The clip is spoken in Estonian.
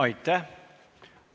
Aitäh!